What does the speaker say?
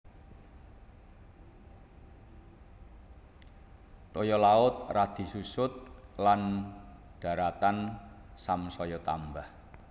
Toya laut radi susut lan daratan samsaya tambah